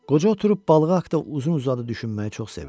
Qoca oturub balığı haqda uzun-uzadı düşünməyi çox sevirdi.